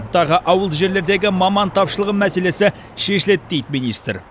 тағы ауылды жерлердегі маман тапшылығы мәселесі шешіледі дейді министр